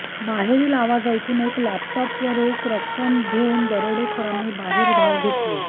बाहेरील आवाज ऐकून एक लॅपटॉप व रोख रक्कम घेऊन दरोडेखोरांनी बाहेर धाव घेतली